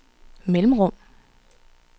mellemrum